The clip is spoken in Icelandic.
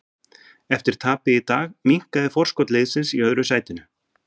Eftir tapið í dag minnkaði forskot liðsins í öðru sætinu.